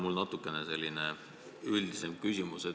Mul on natuke selline üldisem küsimus.